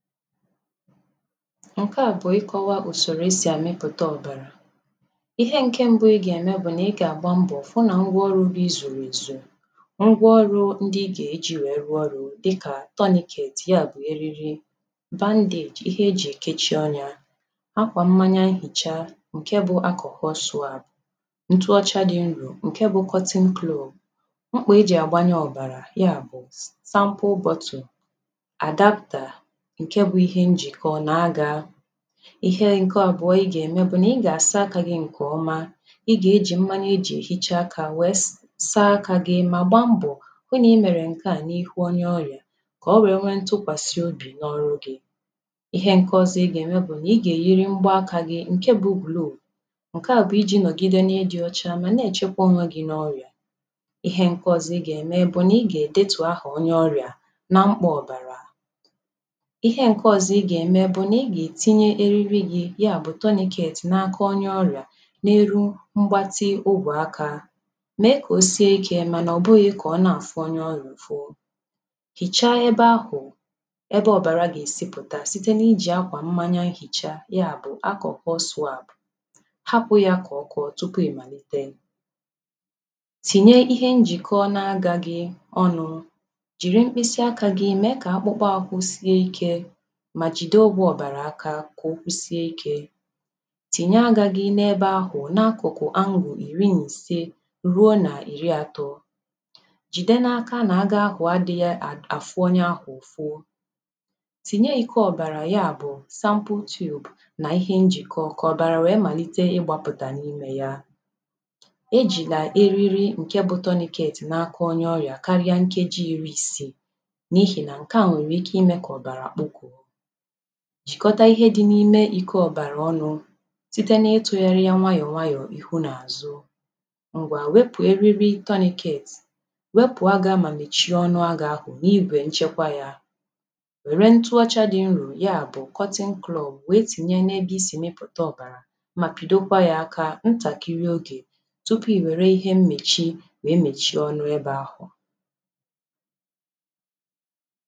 Ǹke à bụ̀ ịkọ̄wā ùsòrò esì àmịpụ̀ta ọ̀bàrà ihe ǹke mbụ ị gà-ème bụ̀ nà ị gà-àgba mbọ̀ fụ nà ngwa ọrụ̄ gị zùrù èzù ngwa ọrụ̄ ndị ị gà-èji wèe rụọ ọrụ̄ dịkà tourniquet ya bụ̀ eriri bandage ihe ejì èkechi ọnyā, akwà mmanya nhìcha ǹke bụ̄ alcohol swab ntuọcha dị nrò ǹke bụ̄ ‘cotton cloth mkpọ̀ ejì àgbanye ọ̀bàrà ya bụ sample bottle’, 'adapter' ǹke bụ̄ njìkọ nà agā, ihe ǹke àbụọ ị gà-ème bụ̀ nà ị gà-àsa akā gị̄ ǹkè ọma ị gà-ejì mmanya ejì èhicha akā wèe saa akā gị mà gbaa mbọ̀ hụ nà ị mèrè ǹke à n’ihu onye ọrị̀à kà o wèe nwee ntụkwàsịobì n’ọrụ gị̄, ihe ǹke ọzọ ị gà-ème bụ̀ nà ị gà-èyiri mgba akā gị ǹke bụ̄ ‘ glove ’ ǹke à bụ̀ ijī nọ̀gide na ịdị̄ ọcha mà na-èchekwa onwe gi n’ọrịà Ihe ǹke ọzo ị gà-ème bụ̀ nà ị gà-èdetù ahà onye ọrịà nà mkpọ̀ ọ̀bàrà ihe ǹke ọzọ ị gá-ème bụ̀ nà ị gà-ètinye eriri gī ya bù ‘ tourniquet ’ n’aka onye ọrịà n’elu mgbatị obù akā, mèe kà o sie ikē mànà ọ̀ bụghị̄ kà ọ na-àfụ onye ọrịà ụ̀fụ, hìchaa ebe ahụ̀ ebe ọ̀bàra gà-èsi pụ̀ta site nà ijì akwà mmanya nhìcha ya bụ̀ ‘ alcohol swab ’ hapụ̄ yà kà ọkọọ tupu ị̀ màlite. Tìnye ihe njìkọ na agā gị ọnụ̄ jìri mkpịsị akā gị mèe kà akpụkpọ ahụ sie ikē mà jìde ọgwụ̄ ọ̀bàrà aka kà ọ kwụsie ikē Tìnye agā gị̄ n’ebe ahụ̀ n’akụ̀kụ̀ ‘ angle ’ ìri nà ìse ruo nà ìri atọ, jìde n’aka nà aga ahụ̀ adị̄ghị̄ àfụ onye ahụ̀ ụ̀fụ tìnye iko ọ̀bàrà ya bụ̀ ‘ sample tube ’ nà ihe njị̀kọ kà ọ̀bàrà ya màlite ịgbāpụ̀tà n’imē ya E jìlà eriri ǹke bụ̄ ‘ tourniquet ’ n’aka onye ọrịà karia nkeji iri isiì n’ihì nà ǹke à nwèrè ike imē kà ọ̀bàrà kpụkọ̀ọ jìkọta ihe dị̄ n’ime ìko ọ̀bàrà ọnụ̄ site ná ịtụ̄gharị ya nwayọ̀ nwayọ̀ ihu nà àzụ. Ǹgwà, wepù eriri ‘ tourniquet ’, wepù agā mà mèchie ọnụ agā ahụ̀ n’igwè nchekwa yā Wère ntụọcha dị̄ nrò ya bụ̀ ‘ cotton cloth ’ wère tìnye n’ebe isì mịpụta ọ̀bàrà mà pị̀dokwa yā aka ntàkịrị ogè tupu ì wère ihe mmèchi wèe mèchie ọnụ ebē ahụ̀